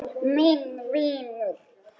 Minn vinur.